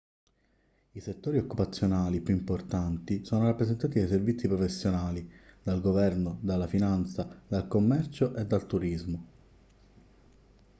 i settori occupazionali più importanti sono rappresentati dai servizi professionali dal governo dalla finanza dal commercio e dal turismo